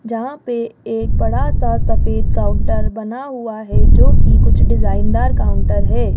जहां पे एक बड़ा सा सफेद काउंटर बना हुआ है जो कि कुछ डिजाइनदार काउंटर है।